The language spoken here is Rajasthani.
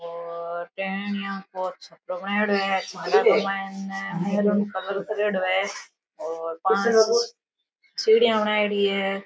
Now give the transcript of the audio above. पौधे है यहाँ बहुत छपडो बनायेडो है कलर कर्येडो है और पांच सीढिया बनायेडि है।